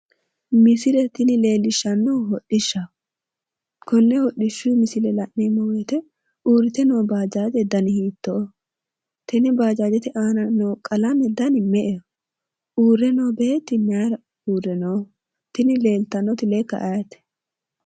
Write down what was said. misilee tinni leeliishanohu hodhiishaho